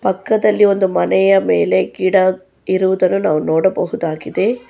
ಪಕ್ಕದಲ್ಲಿ ಒಂದು ಮನೆಯ ಮೇಲೆ ಗಿಡ ಇರುವುದನ್ನು ನಾವು ನೋಡಬಹುದಾಗಿದೆ.